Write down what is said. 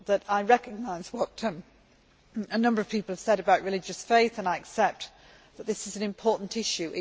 I recognise what a number of people have said about religious faith and I accept that this is an important issue.